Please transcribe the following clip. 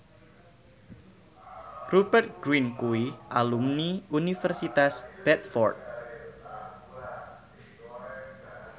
Rupert Grin kuwi alumni Universitas Bradford